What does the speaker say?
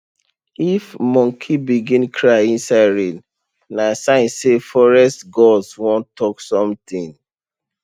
if monkey begin cry inside rain na sign say forest gods wan talk something